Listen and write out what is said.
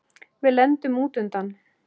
Við lendum út undan.